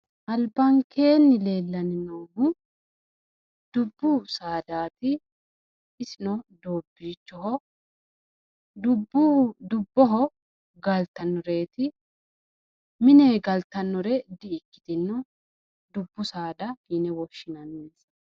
Albankeenni leellannohu noohu dubbu saadaati isino doobbiicho insano dubboho galtannoteeti mine galtannore di'ikkitino dubbu saada yine woshinannireeti